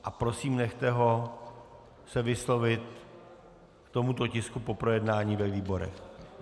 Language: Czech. A prosím nechte ho se vyslovit k tomuto tisku po projednání ve výborech.